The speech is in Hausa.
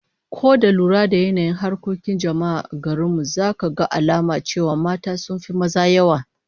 Ko da lura da yanayin harkokin jama'a a garin mu, zaka ga alamu cewa mata sun fi maza yawa.